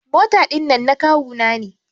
Mota dinnan na kawu na ne.